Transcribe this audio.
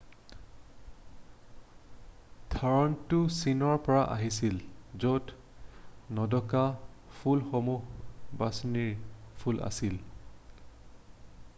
ধাৰণাটো চীনৰ পৰা আহিছিল য'ত নোদোকা ফুলসমূহ বাছনিৰ ফুল আছিল৷